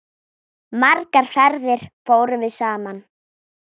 Margar ferðir fórum við saman.